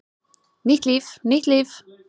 Nýtt líf, nýtt líf!